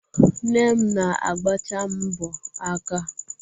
Nne m na-agbacha m mbọ aka.